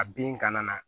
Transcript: A bin kana na